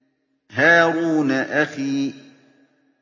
هَارُونَ أَخِي